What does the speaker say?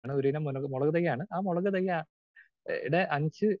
speaker 2 ഒരിനം മുളക് തൈയാണ് ആ മുളക് തൈ ടെ അഞ്ച്